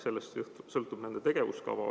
Sellest sõltub nende tegevuskava.